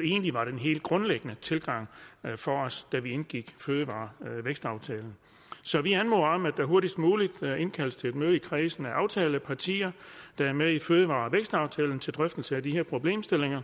egentlig var en helt grundlæggende tilgang for os da vi indgik fødevare og vækstaftalen så vi anmoder om at der hurtigst muligt indkaldes til et møde i kredsen af aftalepartier der er med i fødevarevækstaftalen til drøftelse af de her problemstillinger